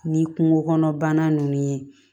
Ni kungo kɔnɔ bana ninnu ye